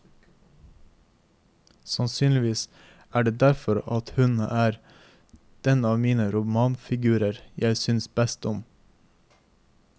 Sannsynligvis er det derfor, at hun er den av mine romanfigurer jeg synes best om.